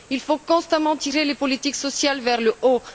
Il faut constamment tirer les politiques sociales vers le haut.